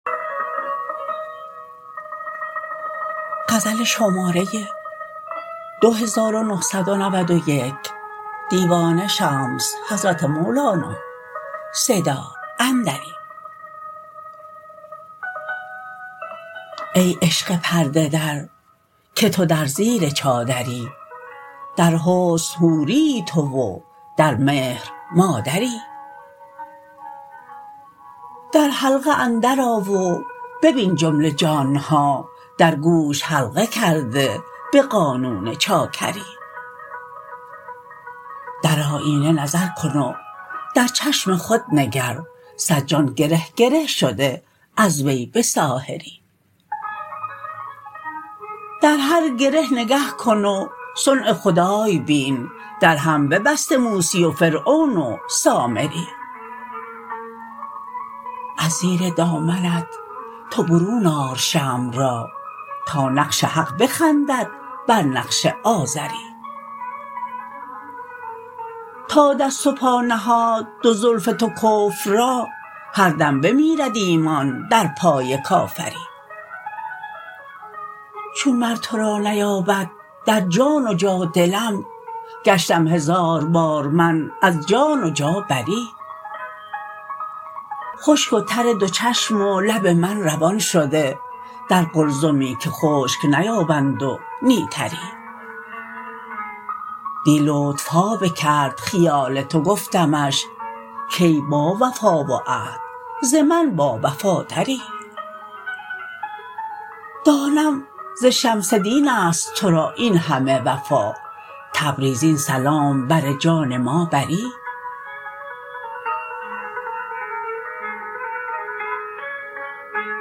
ای عشق پرده در که تو در زیر چادری در حسن حوریی تو و در مهر مادری در حلقه اندرآ و ببین جمله جان ها در گوش حلقه کرده به قانون چاکری در آینه نظر کن و در چشم خود نگر صد جان گره گره شده از وی به ساحری در هر گره نگه کن وضع خدای بین در هم ببسته موسی و فرعون و سامری از زیر دامنت تو برون آر شمع را تا نقش حق بخندد بر نقش آزری تا دست و پا نهاد دو زلف تو کفر را هر دم بمیرد ایمان در پای کافری چون مر تو را نیابد در جان و جا دلم گشتم هزار بار من از جان و جا بری خشک و تر دو چشم و لب من روان شده در قلزمی که خشک نیابند و نی تری دی لطف ها بکرد خیال تو گفتمش کای باوفا و عهد ز من باوفاتری دانم ز شمس دین است تو را این همه وفا تبریز این سلام بر جان ما بری